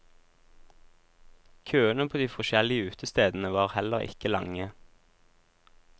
Køene på de forskjellige utestedene var heller ikke lange.